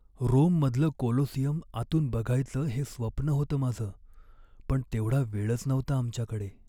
रोममधलं Colosseum आतून बघायचं हे स्वप्न होतं माझं, पण तेवढा वेळच नव्हता आमच्याकडे.